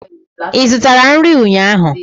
Ị zụtara nri ụnyaahụ?